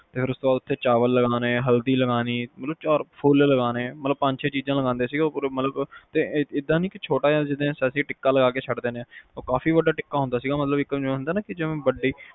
ਫੇਰ ਉਸ ਤੋਂ ਬਾਅਦ ਚਾਵਲ ਲਗਾਨੇ ਹਲਦੀ ਲਗਾਨੀ ਓਰ ਫੁਲ ਲਗਾਨੇ ਪੰਜ ਛੇ ਚੀਜ਼ ਲਗਾਂਦੇ ਸੀ ਤੇ ਏਦਾ ਨਹੀਂ ਛੋਟਾ ਜਿਆ ਟਿੱਕਾ ਲਗਾ ਕੇ ਛੱਡ ਦਿੰਨੇ ਆ ਉਹ ਕਾਫੀ ਵੱਡਾ ਟਿੱਕਾ ਹੁੰਦਾ ਜਿਵੇ ਹੁੰਦੀ ਆ ਕੀ